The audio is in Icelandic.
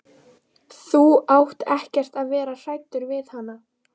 Þú átt ekkert að vera hræddur við hana.